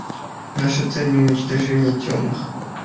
наша цель не уничтожение тёмных